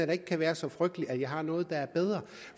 det kan være så frygteligt at jeg har noget der er bedre